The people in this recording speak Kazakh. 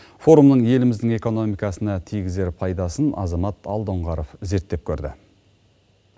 форумның еліміздің экономикасына тигізер пайдасын азамат алдоңғаров зерттеп көрді